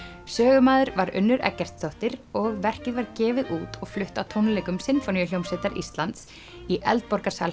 sögumaður var Unnur Eggertsdóttir og verkið var gefið út og flutt á tónleikum Sinfóníuhljómsveitar Íslands í